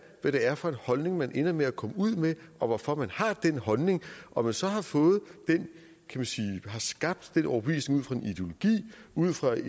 hvad det er for en holdning man ender med at komme ud med og hvorfor man har den holdning om man så har fået skabt den overbevisning ud fra en